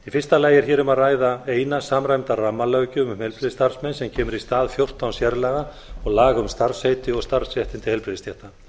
fyrsta lagi er hér um að ræða eina samræmda rammalöggjöf um heilbrigðisstarfsmenn sem kemur í stað fjórtán sérlaga og laga um starfsheiti og starfsréttindi heilbrigðisstétta